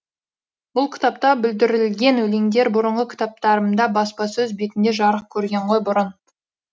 бұл кітапта бүлдірілген өлеңдер бұрынғы кітаптарымда баспасөз бетінде жарық көрген ғой бұрын